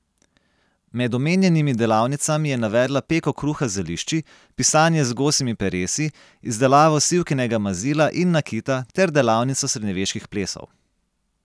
Med omenjenimi delavnicami je navedla peko kruha z zelišči, pisanje z gosjimi peresi, izdelavo sivkinega mazila in nakita ter delavnico srednjeveških plesov.